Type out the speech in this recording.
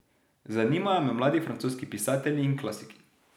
Zanimajo me mladi francoski pisatelji in klasiki.